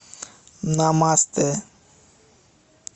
намастэ